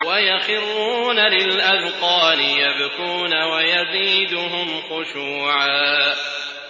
وَيَخِرُّونَ لِلْأَذْقَانِ يَبْكُونَ وَيَزِيدُهُمْ خُشُوعًا ۩